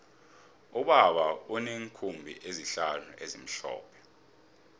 ubaba uneenkhumbi ezihlanu ezimhlophe